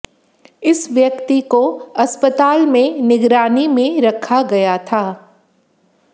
इस व्यक्ति को अस्पताल में निगरानी में रखा गया था